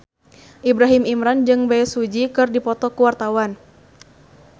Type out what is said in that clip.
Ibrahim Imran jeung Bae Su Ji keur dipoto ku wartawan